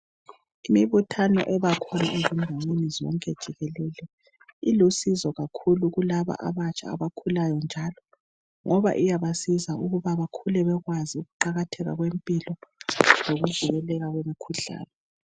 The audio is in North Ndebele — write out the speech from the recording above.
imibuthano ebakhona enhlanganisweni zonke jikelele ilusizo kakhulu kulaba abakhulayo njalo ngoba iyabasiza ukuba bekhule bekwazi ukuqakatheka kwempilo lokuvikeleka kwemkhuhlane